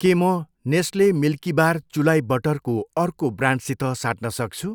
के म Nestle Milkybar चुलाई बटरको अर्को ब्रान्डसित साट्न सक्छु?